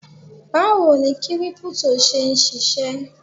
Báwo ni Kírípútò ń ṣe ṣisẹ́?